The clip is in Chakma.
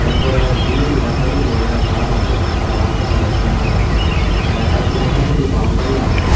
pore jim guribar sayedodi olode gaj agey dangor gaj agey sigon gaj agey te gassuno sayedodi boundari agey.